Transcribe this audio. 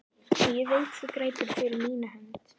Og ég veit þú grætur fyrir mína hönd.